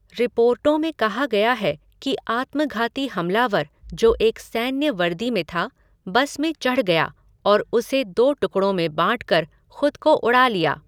रिपोर्टों में कहा गया है कि आत्मघाती हमलावर, जो एक सैन्य वर्दी में था, बस में चढ़ गया और उसे दो टुकड़ों में बाँट कर खुद को उड़ा लिया।